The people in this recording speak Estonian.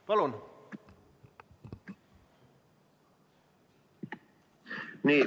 Palun!